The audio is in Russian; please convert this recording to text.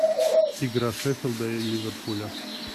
игра шеффилда и ливерпуля